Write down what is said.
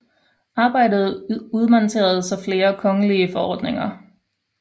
Arbejdet udmøntede sig i flere kongelige forordninger